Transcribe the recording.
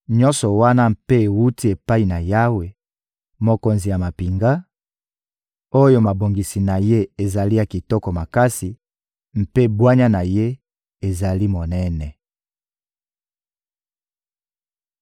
Nyonso wana mpe ewuti epai na Yawe, Mokonzi ya mampinga, oyo mabongisi na Ye ezali ya kitoko makasi mpe bwanya na Ye ezali monene.